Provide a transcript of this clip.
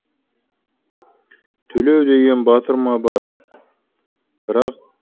төлеу деген батырма бар бірақ төленбейді